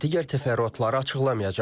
Digər təfərrüatları açıqlamayacam.